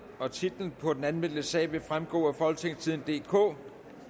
titlen på den anmeldte sag vil fremgå af folketingstidende DK